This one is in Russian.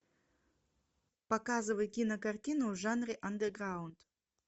показывай кинокартину в жанре андеграунд